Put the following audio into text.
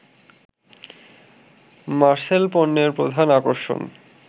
মারসেল পণ্যের প্রধান আকর্ষণ